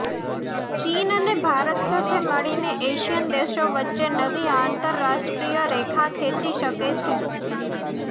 ચીન અને ભારત સાથે મળીને એશિયન દેશો વચ્ચે નવી આંતરરાષ્ટ્રીય રેખા ખેંચી શકે છે